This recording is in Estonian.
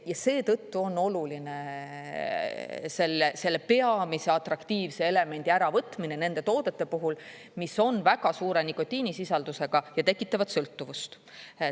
Ja seetõttu on oluline selle peamise atraktiivse elemendi äravõtmine nende toodete puhul, mis on väga suure nikotiinisisaldusega ja tekitavad sõltuvust.